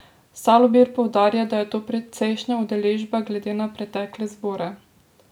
Salobir poudarja, da je to precejšnja udeležba glede na pretekle zbore.